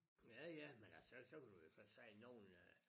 Ja ja men altså så kan du jo godt sige nogen af